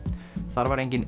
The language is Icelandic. þar var enginn